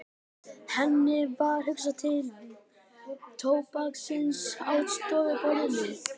Henni varð hugsað til tóbaksins á stofuborðinu.